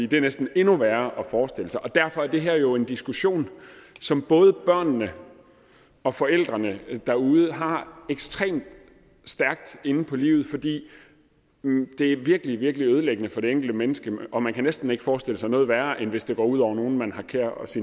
det er næsten endnu værre at forestille sig og derfor er det her jo en diskussion som både børnene og forældrene derude har ekstremt stærkt inde på livet fordi det virkelig virkelig er ødelæggende for det enkelte menneske og man kan næsten ikke forestille sig noget værre end hvis det går ud over nogen man har kær ens